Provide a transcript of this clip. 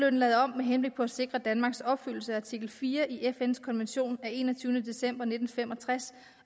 og lavet om med henblik på at sikre danmarks opfyldelse af artikel fire i fns konvention af enogtyvende december nitten fem og tres